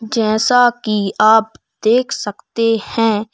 जैसा कि आप देख सकते हैं--